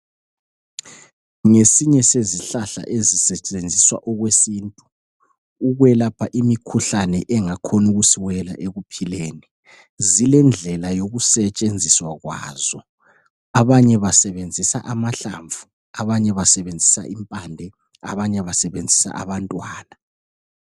Ngesinye sezihlahla ezisetshenziswa okwesintu ukwelapha imikhuhlane engakhona ukusiwela ekuphileni. Zilendlela yokusetshenziswa kwazo. Abanye basebenzisa amahlamvu, abanye impande abanye abantwana.